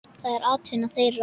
Það er atvinna þeirra.